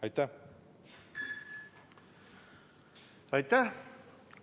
Aitäh!